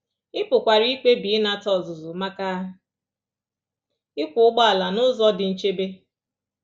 Ị pụkwara ikpebi ịnata ọzụzụ maka ịkwọ ụgbọala n’ụzọ dị nchebe.